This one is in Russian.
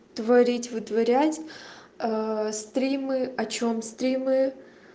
творить вытворять стримы о чем стримы